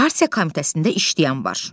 Partiya komitəsində işləyən var.